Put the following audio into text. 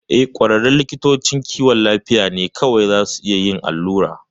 Eh, ƙwararrun likitocin kiwon lafiya ne kawai zasu a iya yin allura.